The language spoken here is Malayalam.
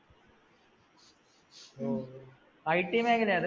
Oh, IT മേഖലയത്?